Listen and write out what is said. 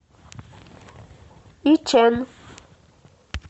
ичэн